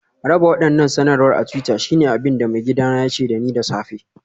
Raba waɗannan sanarwar a twitter shine abin da maigidana ya ce da ni da safe